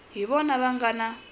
hi vona va nga na